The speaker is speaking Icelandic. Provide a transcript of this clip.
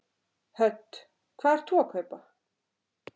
Hödd: Hvað ert þú að kaupa?